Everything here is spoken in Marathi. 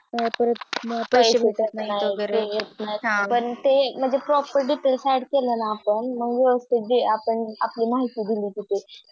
पैसे भेटत नाहि पण ते Proper Details add केले ने आपण मग व्यवस्थित आपण आपली माहिती दिली तिथे तर